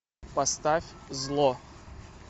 поставь зло